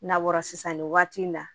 N'a bɔra sisan nin waati in na